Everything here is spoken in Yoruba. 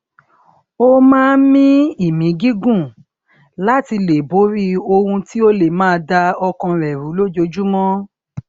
ó máa ń mí ìmí gígùn láti lè borí ohun tí ó lè máa da ọkàn rẹ rú lójoojúmó